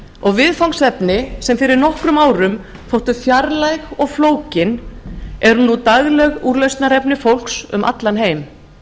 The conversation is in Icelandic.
og viðfangsefni sem fyrir nokkrum árum þóttu fjarlæg og flókin eru nú dagleg úrlausnarefni fólks um allan heim